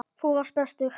Þú varst bestur.